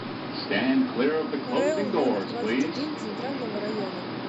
рэу номер двадцать один центрального района